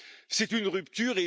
C'est une rupture.